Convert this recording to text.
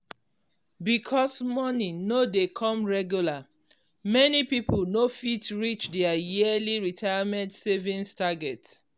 because moni no dey come regular many people no fit reach their yearly retirement savings target.